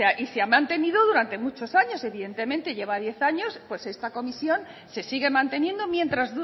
y se ha mantenido durante muchos años evidentemente lleva diez años pues esta comisión se sigue manteniendo mientras